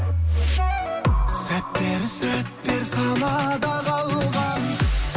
сәттер сәттер санада қалған